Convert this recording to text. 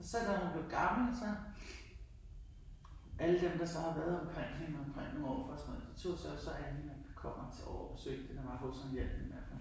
Så da hun blev gammel så alle dem der så har været omkring hende og omkring min morfar og sådan noget de tog sig så af hende, kom altid over og besøgte hende, var hos hende, hjalp med at